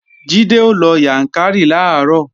Jídé ó lọ Yàǹkàrí làárọ̀